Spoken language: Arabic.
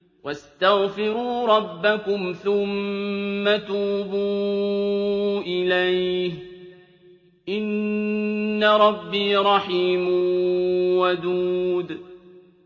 وَاسْتَغْفِرُوا رَبَّكُمْ ثُمَّ تُوبُوا إِلَيْهِ ۚ إِنَّ رَبِّي رَحِيمٌ وَدُودٌ